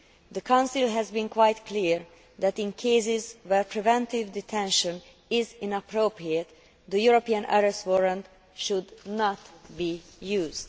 The Council has been quite clear that in cases where preventive detention is inappropriate, the European Arrest Warrant should not be used.